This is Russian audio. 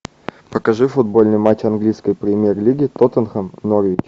покажи футбольный матч английской премьер лиги тоттенхэм норвич